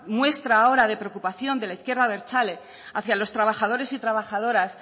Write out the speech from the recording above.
muestra ahora de preocupación de la izquierda abertzale hacia los trabajadores y trabajadoras